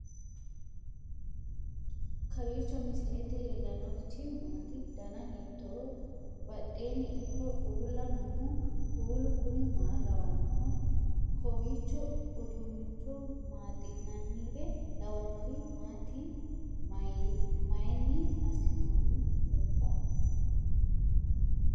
kowiicho misilete leellanorichi maati ? dana hiittooho ?badhhenni ikko uulla noohu kuulu kuni maa lawannoho? kowiicho udunnicho maaxi'nanire lawannori maati mayinni assinoonniteikka